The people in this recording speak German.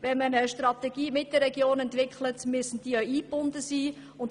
Wenn man eine Strategie mit den Regionen entwickelt, müssen diese auch eingebunden sein.